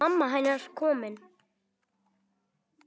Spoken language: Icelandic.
Mamma hennar komin.